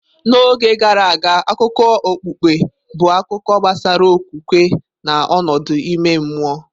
N'oge gara aga, akụkọ okpukpe bụ akụkọ gbasara okwukwe na ọnọdụ ime mmụọ.